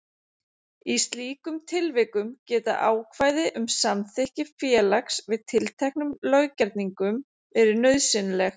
Í slíkum tilvikum geta ákvæði um samþykki félags við tilteknum löggerningum verið nauðsynleg.